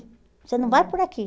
Você não vai por aqui.